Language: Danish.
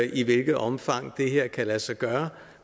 i hvilket omfang det her kan lade sig gøre